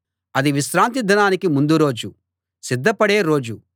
అది విశ్రాంతి దినానికి ముందు రోజు సిద్ధపడే రోజు